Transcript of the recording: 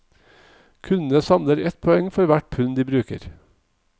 Kundene samler ett poeng for hvert pund de bruker.